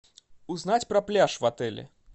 узнать про пляж в отеле